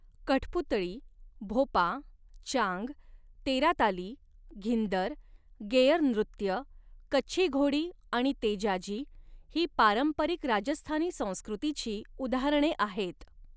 कठपुतळी, भोपा, चांग, तेराताली, घिंदर, गेअरनृत्य, कच्छी घोडी आणि तेजाजी, ही पारंपरिक राजस्थानी संस्कृतीची उदाहरणे आहेत.